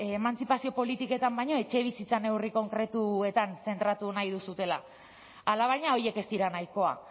emantzipazio politiketan baino etxebizitza neurri konkretuetan zentratu nahi duzuela alabaina horiek ez dira nahikoa